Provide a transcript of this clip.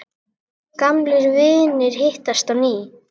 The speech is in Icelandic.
Gamlir vinir hittast á ný.